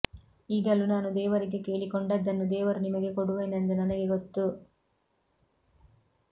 ಈಗಲೂ ನಾನು ದೇವರಿಗೆ ಕೇಳಿಕೊಂಡದ್ದನ್ನು ದೇವರು ನಿಮಗೆ ಕೊಡುವೆನೆಂದು ನನಗೆ ಗೊತ್ತು